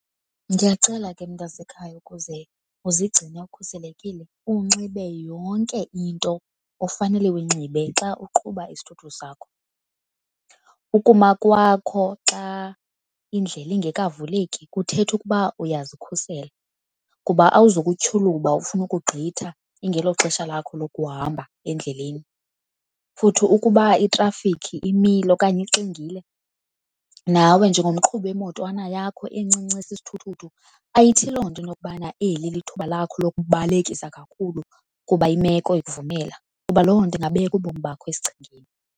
Ndiyakucela ke, mntasekhaya, ukuze uzigcine ukhuselekile unxibe yonke into ofanele uyinxibe xa uqhuba isithuthuthu sakho. Ukuma kwakho xa indlela ingekavuleki kuthetha ukuba uyazikhusela, kuba awuzukutyhuluba ufune ukugqitha ingeloxesha lakho lokuhamba endleleni. Futhi ukuba itrafikhi imile okanye ixingile, nawe njengomqhubi wemotwana yakho encinci esisithuthuthu ayithi loo nto intokubana eli lithuba lakho lokubalekisa kakhulu kuba imeko ikuvumela kuba loo nto ingabeka ubomi bakho esichengeni.